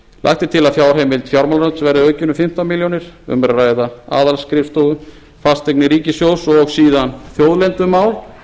lagt er til að fjárheimild fjármálaráðuneytisins verði aukin um fimmtán milljónir um er að ræða aðalskrifstofu fasteignir ríkissjóðs og síðan þjóðlendumál